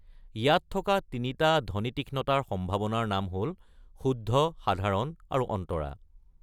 ইয়াত থকা তিনিটা ধ্বনিতীক্ষ্ণতাৰ সম্ভাৱনাৰ নাম হ’ল, শুদ্ধ, সাধাৰণ, আৰু অন্তৰা।